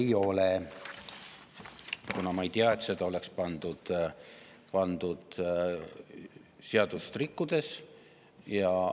" Ei ole, kuna ma ei tea, et seda oleks pandud seadust rikkudes.